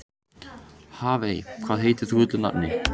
Hafey, hvað heitir þú fullu nafni?